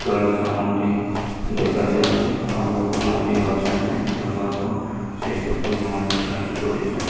ତଳେ ସାମଗ୍ରୀ ଦେଖାଯାଉଛି ଆଉ ଲୋକ ମାନେ ବି ଅଛନ୍ତି କିଣିବାକୁ ସେ ସପିଙ୍ଗ ମଲ୍ ଭିତରେ ଏଣ୍ଟ୍ରି କରିଛନ୍ତି।